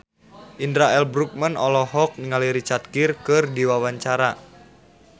Indra L. Bruggman olohok ningali Richard Gere keur diwawancara